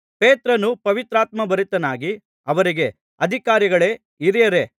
ಪೇತ್ರನು ಪವಿತ್ರಾತ್ಮಭರಿತನಾಗಿ ಅವರಿಗೆ ಅಧಿಕಾರಿಗಳೇ ಹಿರಿಯರೇ